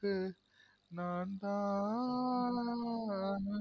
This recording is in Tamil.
கு நாந்தா ஆஆஆன்